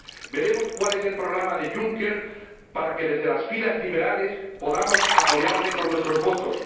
Veremos cuál es el programa de Juncker para que, desde las filas liberales, podamos apoyarle con nuestros votos